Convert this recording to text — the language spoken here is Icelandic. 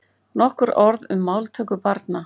Nokkur orð um máltöku barna.